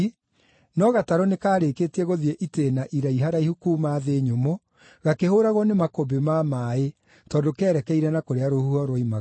no gatarũ nĩkarĩkĩtie gũthiĩ itĩĩna iraiharaihu kuuma thĩ nyũmũ, gakĩhũũragwo nĩ makũmbĩ ma maaĩ tondũ kerekeire na kũrĩa rũhuho ruoimaga.